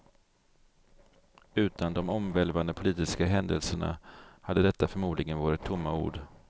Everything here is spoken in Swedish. Utan de omvälvande politiska händelserna hade detta förmodligen varit tomma ord.